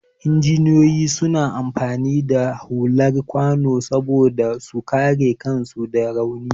Injiniyoyi suna amfani da hular kwano saboda su kare kansu da rauni.